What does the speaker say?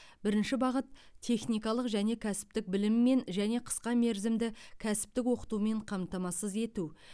бірінші бағыт техникалық және кәсіптік біліммен және қысқа мерзімді кәсіптік оқытумен қамтамасыз ету